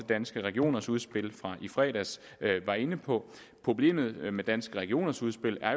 danske regioners udspil fra i fredags var inde på problemerne med danske regioners udspil er